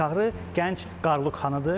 Çağrı gənc Qaruluq xanıdır.